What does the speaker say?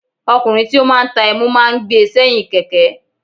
Ọkùnrin tí ó máa ń ta ẹmu máa ń gbé e sẹ́yìn Kẹ̀kẹ́.